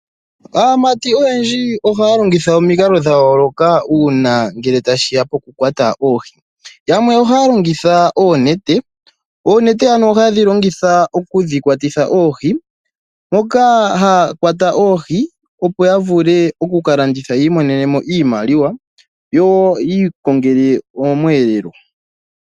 Aamati oyendji ohaya longitha omikalo dhayooloka uuna ngele ta shiya poku kwata oohi, yamwe ohaya longitha oonete oonete oha yedhi longitha okudhi kwatatitha oohi, moka haya kwata oohi, opo ya vule okuka landitha yiimonene iimaliwa yo yi ikongele omweelelo.